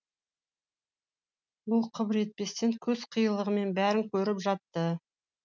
ол қыбыр етпестен көз қиығымен бәрін көріп жатты